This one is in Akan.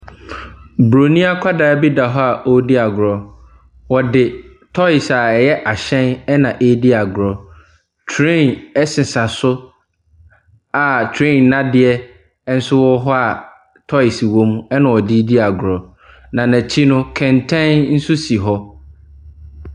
Buroni akwadaa bi da hc a ɔredi agorɔ. Ɔde toes a ɛyɛ ɛhyɛn na redi agorɔ. Train ɛsesa so a train nnadeɛ nso wɔ hɔ a toes wɔ mu na ɔde redi agorɔ, na n'akyi nso kɛntɛn nso si hɔ.